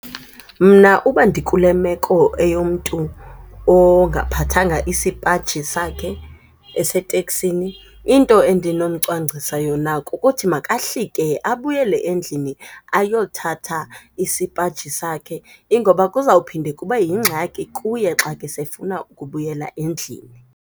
Mna uba ndikule meko eyomntu ongaphathanga isipaji sakhe eseteksini into endinomgcwangcisa yona kukuthi makahlike abuyele endlini ayothatha isipaji sakhe ingoba kuzophinde kube yingxaki kuye xa ke sefuna ukubuyela endlini.